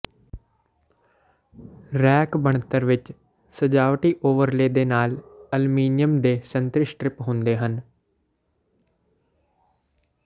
rack ਬਣਤਰ ਵਿੱਚ ਸਜਾਵਟੀ ਓਵਰਲੇਅ ਦੇ ਨਾਲ ਅਲਮੀਨੀਅਮ ਦੇ ਸੰਤਰੀ ਸਟਰਿੱਪ ਹੁੰਦੇ ਹਨ